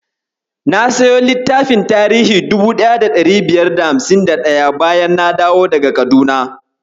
Na siyo littafin tiririn 1551, bayan na dawo daga Kaduna.